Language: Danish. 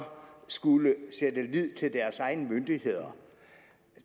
skulle sætte lid til deres egne myndigheder